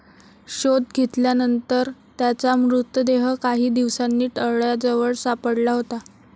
शोध घेतल्यानंतर त्याचा मृतदेह काही दिवसांनी तळ्याजवळ सापडला होता.